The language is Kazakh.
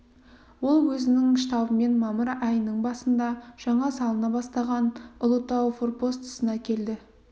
ол өзінің штабымен мамыр айының басында жаңа салына бастаған ұлытау форпостысына келді